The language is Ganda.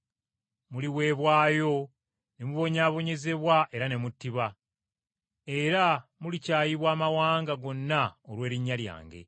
“Muliweebwayo ne mubonyaabonyezebwa era ne muttibwa, era mulikyayibwa amawanga gonna olw’erinnya lyange.